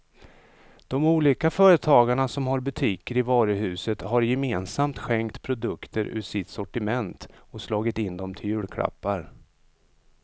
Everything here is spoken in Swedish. De olika företagarna som har butiker i varuhuset har gemensamt skänkt produkter ur sitt sortiment och slagit in dem till julklappar.